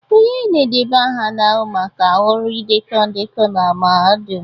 Onye na-edeba aha na-ahụ maka ọrụ idekọ ndekọ na mahadum